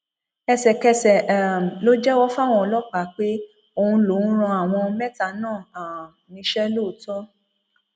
ẹsẹkẹsẹ um ló jẹwọ fáwọn ọlọpàá pé òun lòún rán àwọn mẹta náà um níṣẹ lóòótọ